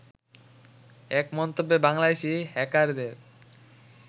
এক মন্তব্যে বাংলাদেশি হ্যাকারদের